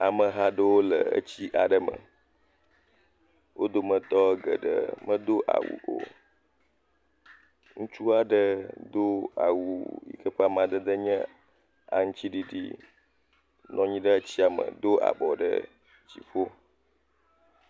Ameha ɖowo le etsi aɖe me, wo dometɔ geɖe me do awu o, ŋutsu aɖe do awu yi ke be amadede nye aŋtsiɖiɖi, nɔnyi ɖe tsiame, do abɔ ɖe dziƒo.